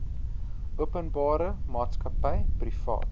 openbare maatskappy privaat